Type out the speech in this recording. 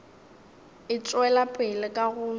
e tšwela pele ka go